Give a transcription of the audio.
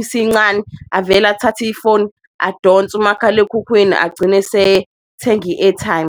isincane avele athathe ifoni adonse umakhalekhukhwini agcine esethenga i-airtime.